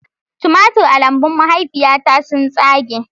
Tumatir a lambun mahaifiyata sun tsage